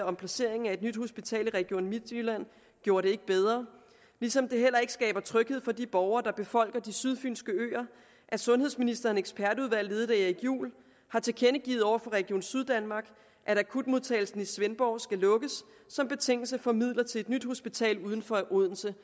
om placeringen af et nyt hospital i region midtjylland gjorde det ikke bedre ligesom det heller ikke skaber tryghed for de borgere der befolker de sydfynske øer at sundhedsministerens ekspertudvalg ledet af erik juhl har tilkendegivet over for region syddanmark at akutmodtagelsen i svendborg skal lukkes som betingelse for midler til et nyt hospital uden for odense